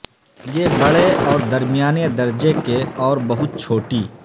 یہ بڑے اور درمیانے درجے کے اور بہت چھوٹی